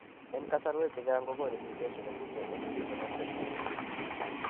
En kasarwek chechang kogonu mutation nemiten en gene nebo PHEX